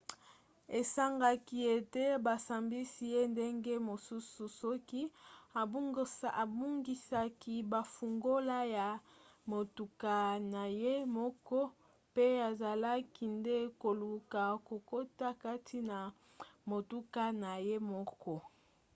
esengaki ete basambisi ye ndenge mosusu soki abungisaki bafungola ya motuka na ye moko pe azalaki nde koluka kokota kati na motuka na ye moko